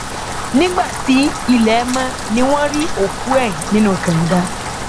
nígbà tí ilẹ mọ ni wọn rí òkú ẹ nínú kànga